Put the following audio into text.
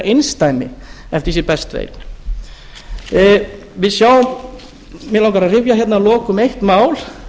einsdæmi eftir því sem ég best veit mig langar að rifja hérna að lokum upp eitt mál